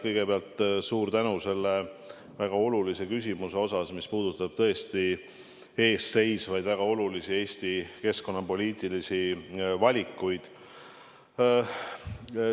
Kõigepealt suur tänu selle väga olulise küsimuse eest, mis puudutab väga olulisi Eesti ees seisvaid keskkonnapoliitilisi valikuid.